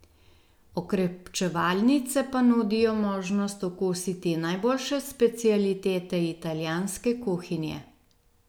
Okrepčevalnice pa nudijo možnost okusiti najboljše specialitete italijanske kuhinje.